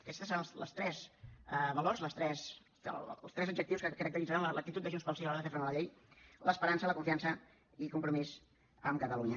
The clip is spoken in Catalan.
aquests tres seran els tres valors els tres adjectius que caracteritzaran l’actitud de junts pel sí a l’hora de fer front a la llei l’esperança la confiança i compromís amb catalunya